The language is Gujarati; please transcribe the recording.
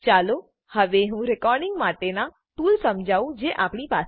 ચાલો હવે હું રેકોર્ડીંગ માટેનાં ટૂલ સમજાવું જે આપણી પાસે છે